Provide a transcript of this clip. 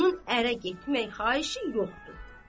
onun ərə getmək xahişi yoxdur.